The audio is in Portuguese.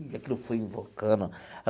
E aquilo foi invocando.